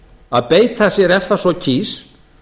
að beita sér ef það svo kýs